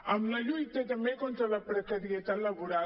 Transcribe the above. en la lluita també contra la precarietat laboral